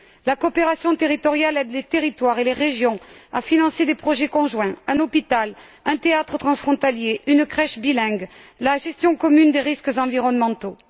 La coopération territoriale aide les territoires et les régions à financer des projets conjoints un hôpital, un théâtre transfrontalier, une crèche bilingue, la gestion commune des risques environnementaux.